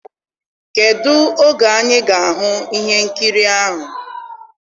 kedụ oge anyị ga-ahụ ihe nkiri ahụ?